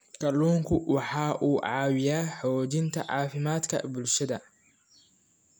Kalluunku waxa uu caawiyaa xoojinta caafimaadka bulshada.